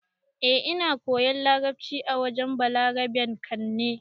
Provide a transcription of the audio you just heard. Eh, Ina koyan larabci a wurin Balaraben can ne.